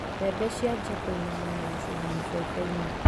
Mbembe ciambia kũinama na gũcuha mũbebe-inĩ.